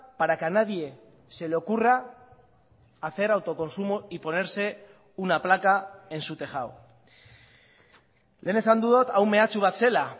para que a nadie se le ocurra hacer autoconsumo y ponerse una placa en su tejado lehen esan dut hau mehatxu bat zela